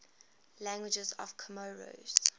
languages of comoros